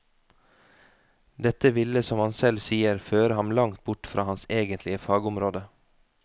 Dette ville som han selv sier føre ham langt bort fra hans egentlige fagområde.